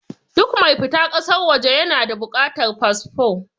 Duk mai fita ƙasar waje ya na da buƙatar fasfo.